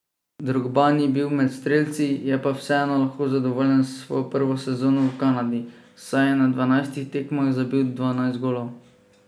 Drogba ni bil med strelci, je pa vseeno lahko zadovoljen s svojo prvo sezono v Kanadi, saj je na dvanajstih tekmah zabil dvanajst golov.